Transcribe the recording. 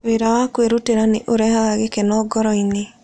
Wĩra wa kwĩrutĩra nĩ ũrehaga gĩkeno ngoro-inĩ.